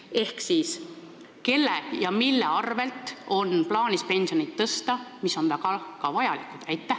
Ehk siis, kelle ja mille arvel on plaanis pensione tõsta, mis on väga ka vajalik?